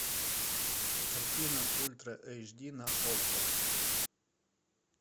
картина ультра эйч ди на окко